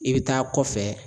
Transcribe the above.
I bɛ taa kɔfɛ.